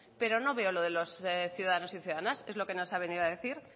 pero no veo lo de los ciudadanos y ciudadanas es lo que nos ha venido a decir